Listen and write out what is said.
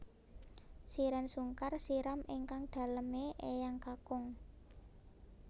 Shireen Sungkar siram ingkang dalem e eyang kakung